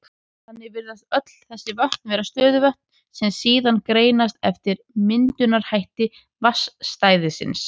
Þannig virðast öll þessi vötn vera stöðuvötn, sem síðan greinast eftir myndunarhætti vatnsstæðisins.